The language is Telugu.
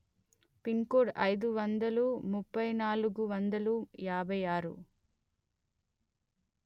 పిన్ కోడ్ అయిదు వందలు ముప్పై నాలుగు వందలు యాభై ఆరు